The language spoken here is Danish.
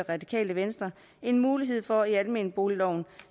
radikale venstre en mulighed for i almenboligloven